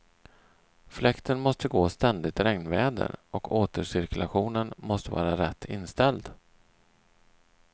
Fläkten måste gå ständigt regnväder och återcirkulationen måste vara rätt inställd.